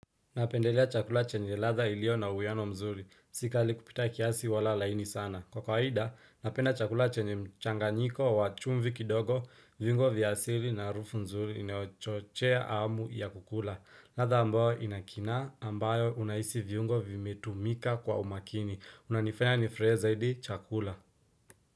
Napendelea chakula chenye radha ilio na uweano mzuri. Si kali kupita kiasi wala laini sana. Kwa kawaida, napenda chakula chenye mchanganyiko wa chumvi kidogo, viungo vya asili na haruufu mzuri inayochochea amu ya kukula. Radha ambayo inakina ambayo unaisi viungo vimetumika kwa umakini. Unanifanya nifurahie zaidi chakula.